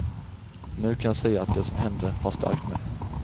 Nu kan jag säga att det som hände har stärkt mig.